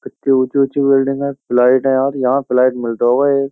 कित्ती ऊँची-ऊँची बिल्डिंग हैं फ़्लैट हैं यार यहां फ्लैट मिलता होगा एक।